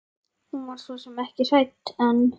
Hún var svo sem ekki hrædd en.